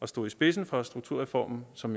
og stod i spidsen for strukturreformen som